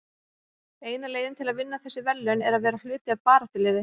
Eina leiðin til að vinna þessi verðlaun er að vera hluti af baráttuliði.